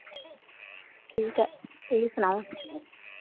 ਠੀਕ ਏ ਤੁਸੀ ਸੁਣਾਓ